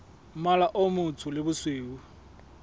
mmala o motsho le bosweu